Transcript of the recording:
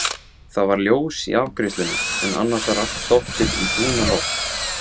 Það var ljós í afgreiðslunni en annars var allt dottið í dúnalogn.